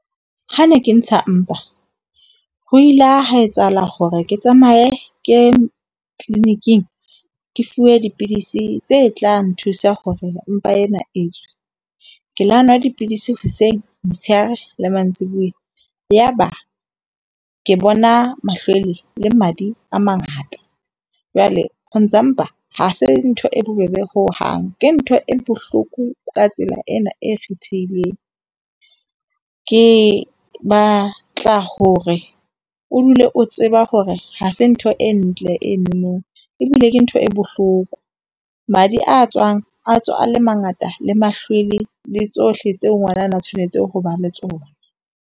Ha ne ke ntsha mpa ho ile hwa etsahala hore ke tsamaye ke ye clinic-ing, ke fuwe dipidisi tse tla nthusa hore mpa ena e tswe. Ke la nwa dipidisi hoseng, motshehare le mantsibuya. Yaba ke bona mahlwele le madi a mangata. Jwale ho ntsha mpa ha se ntho e bobebe hohang, ke ntho e bohloko ka tsela ena e kgethehileng. Ke batla hore o dule o tseba hore ha se ntho e ntle eno ebile ke ntho e bohloko. Madi a tswang a tswa a le mangata le mahlwele. Le tsohle tseo ngwanana a tshwanetseng ho ba le tsona.